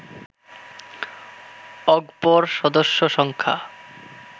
অগপর সদস্য সংখ্যা